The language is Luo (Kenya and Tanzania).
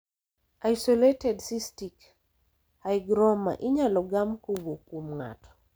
Isolated cystic hygroma inyalo gam kowuk kuom ng'ato .